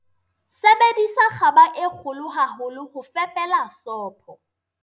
sebedisa kgaba e kgolo haholo ho fepela sopo